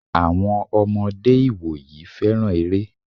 Àwọn ọmọdé ìwòyí féràn eré.